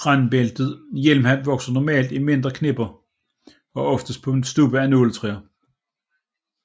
Randbæltet hjelmhat vokser normalt i mindre knipper og oftest på stubbe af nåletræ